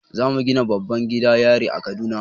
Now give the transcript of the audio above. Zamu gina babban gidan yari a kaduna